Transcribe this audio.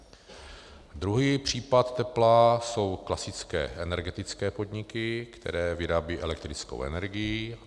Druhý případ tepla jsou klasické energetické podniky, které vyrábějí elektrickou energii.